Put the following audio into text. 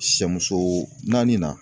Sɛ muso naani na